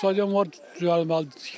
Stadion var, düzəlməlidir, tikilməlidir.